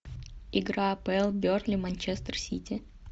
игра апл бернли манчестер сити